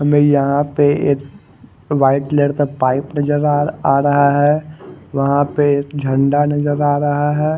हमे यहा प एक वाइट कलर का पाइप नजर आ रहा है वहा पे एक झंडा नजर आ रहा है।